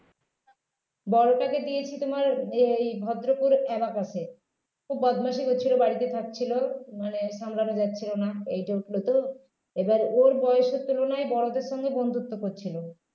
বড়োটাকে দিয়েছি তোমার এই ভদ্রপুর abacus এ খুব বদমাশি করছিলো বাড়িতে থাকছিল মানে সামলানো যাচ্ছিল না eight এ উঠলো তো এবার ওর বয়সের তুলনায় বড়দের সঙ্গে বন্ধুত্ব করছিল